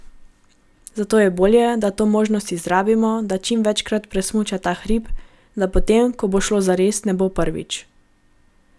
Zato je bolje, da to možnost izrabimo, da čim večkrat presmuča ta hrib, da potem, ko bo šlo zares ne bo prvič.